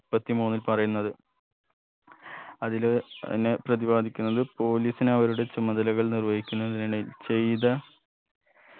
മുപ്പത്തി മൂന്നിൽ പറയുന്നത് അതില് പിന്നെ പ്രതിപാദിക്കുന്നത് police ന് അവരുടെ ചുമതലകൾ നിർവഹിക്കുന്നതിനിടയിൽ ചെയ്ത